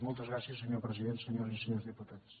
moltes gràcies senyor president senyores i senyors diputats